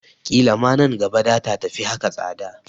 Ƙila man gaba data tafi haka tsada